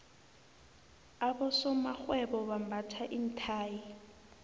abosomarhwebo bambatha iinthayi